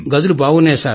గదులు బాగున్నాయి